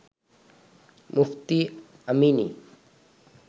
Mufti Amini